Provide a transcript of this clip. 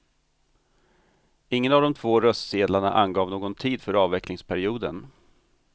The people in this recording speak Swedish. Ingen av de två röstsedlarna angav någon tid för avvecklingsperioden.